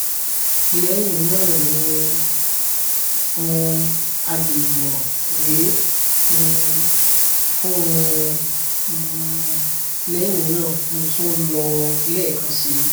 lẹyìn náà ní um alẹ mo wẹ um fún un um lẹyìn náà mo tún lò ó lẹẹkan si